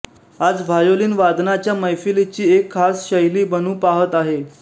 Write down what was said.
आज व्हायोलिन वादनाच्या मैफलीची एक खास शैली बनू पाहत आहे